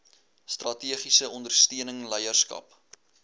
strategiese ondersteuning leierskap